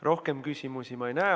Rohkem küsimusi ma ei näe.